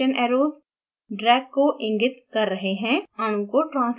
ध्यान दें direction arrows drag को इंगित कर रहे हैं